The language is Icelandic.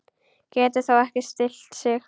Getur þó ekki stillt sig.